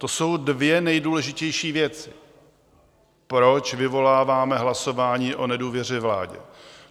To jsou dvě nejdůležitější věci, proč vyvoláváme hlasování o nedůvěře vládě.